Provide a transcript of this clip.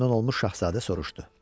Məmnun olmuş şahzadə soruşdu.